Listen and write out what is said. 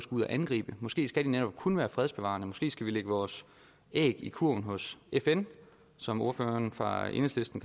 ud at angribe måske skal de netop kun være fredsbevarende måske skal vi lægge vores æg i kurven hos fn som ordføreren for enhedslisten